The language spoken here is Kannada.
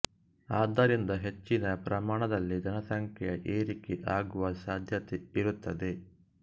ಆದ್ದರಿಂದ ಹೆಚ್ಚಿನ ಪ್ರಮಾನದಲ್ಲಿ ಜನಸಂಖ್ಯೆಯ ಏರಿಕೆ ಆಗುವ ಸಾಧ್ಯತೆ ಇರುತ್ತದೆ